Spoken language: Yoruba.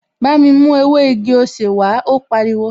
Bámi mú ewé igi-osè wàá, ó pariwo!